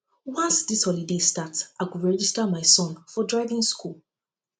once dis holiday start i go register register my son for driving skool